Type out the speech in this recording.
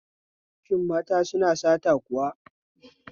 Shin mata suna sata kuwa?